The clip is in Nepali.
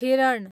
हिरण